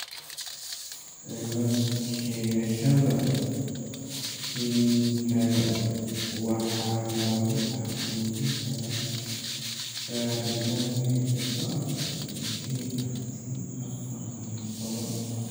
Cilad-sheegashada kiliinikada waxaa lagu xaqiijin karaa baaritaanka hidda-socodka ee KRT afaar iyo tobaan .